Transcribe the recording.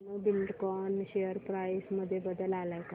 Dhenu Buildcon share price मध्ये बदल आलाय का